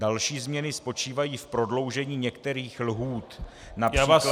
Další změny spočívají v prodloužení některých lhůt, například -